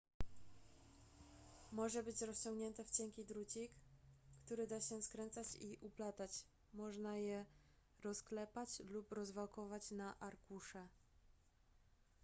może być rozciągnięte w cienki drucik który da się skręcać i uplatać można je rozklepać lub rozwałkować na arkusze